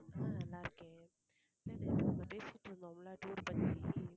நல்லா இருக்கேன் நேத்து நம்ம பேசிட்டிருந்தோம் tour பத்தி